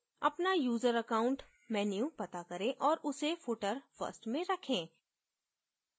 अपना user account menu पता करें औऱ उसे footer first में रखे